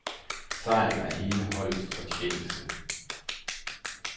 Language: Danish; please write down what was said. Sejren er hele holdets fortjeneste.